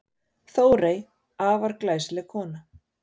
Þórey, afar glæsileg kona.